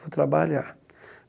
Vou trabalhar.